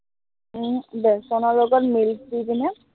উম বেচনৰ লগত milk দি কিনে